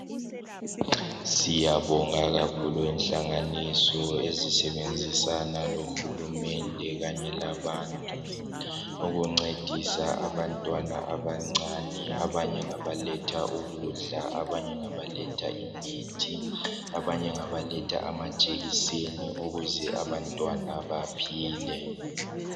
Siyabonga kakhulu inhlanganiso ezisebenzisana lohulumende kanye labantu, ukuncedisa abantwana abancane. Abanye ngabaletha ukudla, abanye ngabaletha imithi, abanye ngabaletha amajekiseni ukuze abantwana baphile.